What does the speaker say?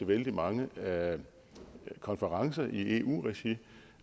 vældig mange konferencer i eu regi